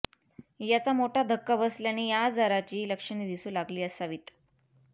याचा मोठा धक्का बसल्याने या आजाराची लक्षणे दिसू लागली असावीत